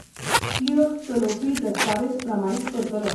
Kiosk चलोवपी दस्तावेज प्रमाणीत करतलो.